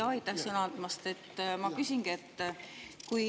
Aitäh sõna andmast!